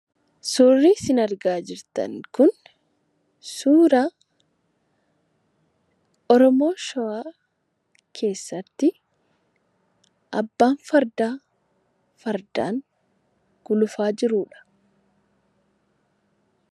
Suurri isin argaa jirtan kun suuraa oromoo shawaa keessatti abbaan fardaa fardaan gulufaa jirudha.